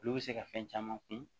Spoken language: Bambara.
Olu bɛ se ka fɛn caman kun